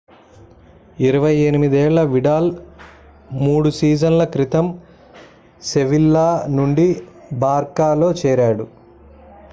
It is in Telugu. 28 ఏళ్ల విడాల్ 3 సీజన్‌ల క్రితం sevilla నుండి barçaలో చేరాడు